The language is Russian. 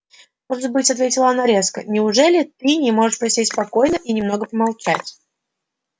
может быть ответила она резко неужели ты не можешь посидеть спокойно и немного помолчать